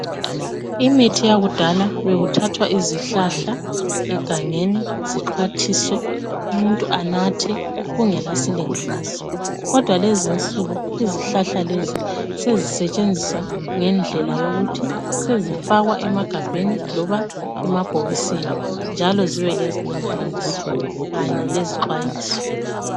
Imithi yakudala bekuthathwa izihlahla egangeni zixhwathiswe umuntu anathe kungela silinganiso kodwa lezinsuku izihlahla lezi sezisetshenziswa ngendlela yokuthi sezifakwa emagabheni loba emabhokisini njalo zibe lezilinganiso kanye lezixwayiso.